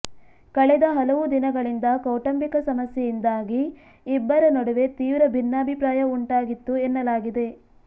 ಕಳೆದ ಹಲವು ದಿನಗಳಿಂದ ಕೌಟುಂಬಿಕ ಸಮಸ್ಯೆಯಿಂದಾಗಿ ಇಬ್ಬರ ನಡುವೆ ತೀವ್ರ ಭಿನ್ನಾಭಿಪ್ರಾಯ ಉಂಟಾಗಿತ್ತು ಎನ್ನಲಾಗಿದೆ